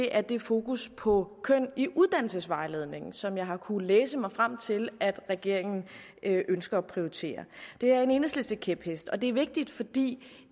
er det fokus på køn i uddannelsesvejledningen som jeg har kunnet læse mig frem til at regeringen ønsker at prioritere det er en enhedslistekæphest og det er vigtigt fordi